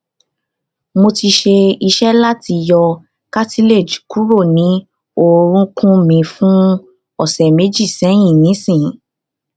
mo ti se ise lati yo ]cartilage kuro ni orukun mi fun ọ̀sẹ̀ méji sẹ́yìn nísìnyí